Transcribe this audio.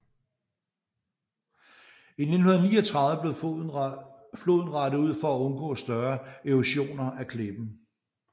I 1939 blev floden rettet ud for at undgå større erosioner af klippen